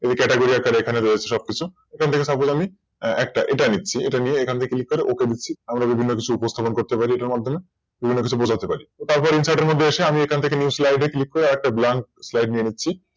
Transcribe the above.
এই Catagorir টা রয়েছে সবকিছু এখান থেকে সবগুলো আমি একটা এটা নিচ্ছি এটা নিয়ে এখান থেকে Click করে আমরা বিভিন্ন কিছু উপস্থাপন করতে পারি এটার মধ্যে বিভিন্ন কিছু বোঝাতে পারি। তারপর Insert এর মধ্যে এসে আমি এখান থেকে New slide এ Click করে আমি আরেকটা Blank slide নিয়ে নিচ্ছি